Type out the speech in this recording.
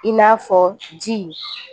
I n'a fɔ ji